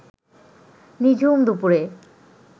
নিঝুম দুপুরে